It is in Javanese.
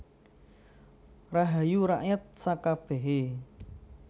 Rahayu rakyat sakabèhé